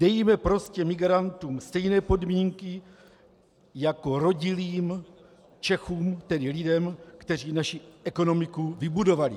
Dejme prostě migrantům stejné podmínky jako rodilým Čechům, tedy lidem, kteří naši ekonomiku vybudovali.